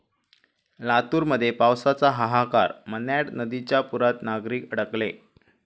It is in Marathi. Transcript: लातूरमध्ये पावसाचा हाहाकार, मन्याड नदीच्या पुरात नागरिक अडकले